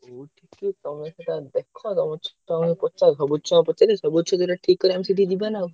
ଯୋଉ ଠିକି ତମେ ସେଟା ଦେଖ ତାପରେ ପଚାରିବ ସବୁ ଛୁଆଙ୍କୁ ପଚାରିବ ସବୁ ଛୁଆ ଯୋଉଟା ଠିକ୍ କରିବେ ଆମେ ସେଇଠିକି ଯିବାନା ଆଉ।